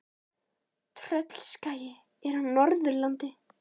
Tröllaskagi er á Norðurlandi.